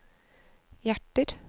hjerter